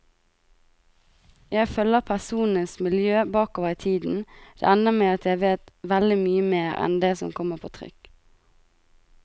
Jeg følger personenes miljø bakover i tiden, det ender med at jeg vet veldig mye mer enn det som kommer på trykk.